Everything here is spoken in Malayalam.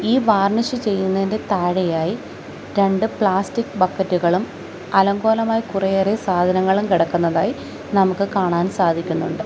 ഈ വാർണിഷ് ചെയ്യുന്നതിന്റെ താഴെയായി രണ്ട് പ്ലാസ്റ്റിക് ബക്കറ്റുകകളും അലങ്കോലമായി കുറേയേറെ സാധനങ്ങളും കിടക്കുന്നതായി നമുക്ക് കാണാൻ സാധിക്കുന്നൊണ്ട്.